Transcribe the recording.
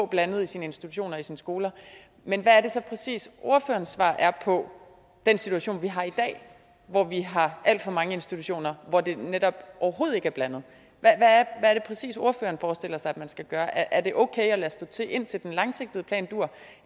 blandet i sine institutioner og i sine skoler men hvad er det så præcis ordførerens svar er på den situation vi har i dag hvor vi har alt for mange institutioner hvor det netop overhovedet ikke er blandet hvad er det præcis ordføreren forestiller sig man skal gøre er det okay at lade stå til indtil den langsigtede plan duer